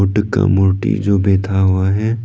मूर्ति जो बैठा हुआ है।